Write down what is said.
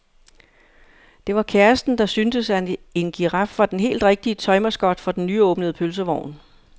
Det var kæresten, der syntes, at en giraf var den helt rigtige tøj-mascot for den nyåbnede pølsevogn.